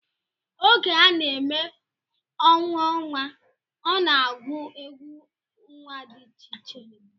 Oge a na-eme ọṅụ nnwa, a na-agụ egwú nnwa dị iche iche